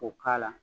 K'o k'a la